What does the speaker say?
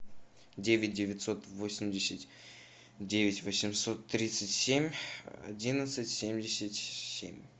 девять девятьсот восемьдесят девять восемьсот тридцать семь одиннадцать семьдесят семь